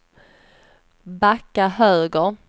backa höger